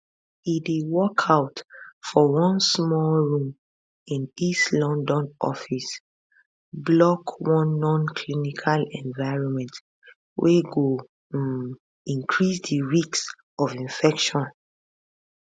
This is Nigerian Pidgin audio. e dey work out for one small room in east london office block one nonclinical environment wey go um increase di risk of infection